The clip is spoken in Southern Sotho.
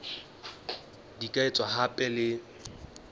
di ka etswa hape le